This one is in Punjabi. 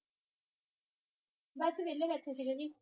ਬਸ ਵੇਹਲੇ ਬੈਠੇ ਸੀਗੇ ਜੀ